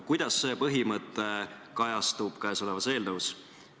Kuidas see põhimõte kajastub selles eelnõus?